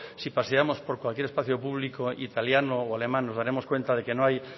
si paseamos por cualquier espacio público italiano o alemán nos daremos cuenta de que no hoy